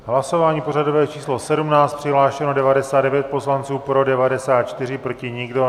Hlasování pořadové číslo 17, přihlášeno 99 poslanců, pro 94, proti nikdo.